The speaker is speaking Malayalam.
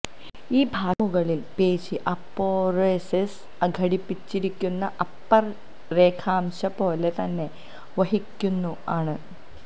ഈ ഭാഷ മുകളിൽ പേശി അപൊനെഉരൊസിസ് ഘടിപ്പിച്ചിരിക്കുന്ന അപ്പർ രേഖാംശ പോലെ തന്നെ വഹിക്കുന്നു ആണ്